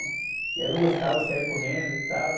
E aí eu não gostava, eu saia correndo e tal.